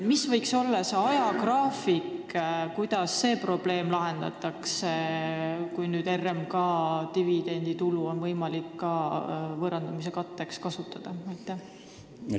Milline võiks olla selle probleemi lahendamise ajagraafik, kui nüüd on võimalik võõrandamise katteks kasutada ka RMK dividenditulu?